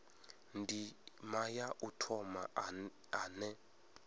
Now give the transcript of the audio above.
ndima ya u thoma ane